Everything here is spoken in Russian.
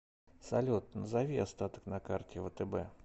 салют назови остаток на карте втб